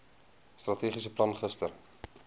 strategiese plan gister